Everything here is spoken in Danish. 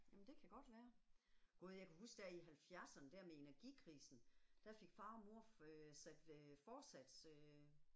Jamen det kan godt være. Gud jeg kan huske der i halvfjerdserne der med energikrisen, der fik far og mor øh sat øh forsats øh